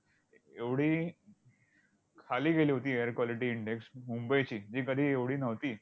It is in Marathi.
एवढी खाली गेली होती air quality index मुंबईची, जी कधी एवढी नव्हती.